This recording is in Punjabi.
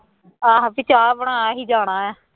ਆਹੋ ਵੀ ਚਾਹ ਬਣਾ ਅਸੀਂ ਜਾਣਾ ਹੈ